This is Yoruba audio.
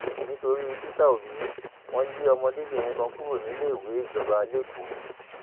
nítorí peter obi wọn lé ọmọdébìnrin kan kúrò níléèwé ìjọba lẹkọọ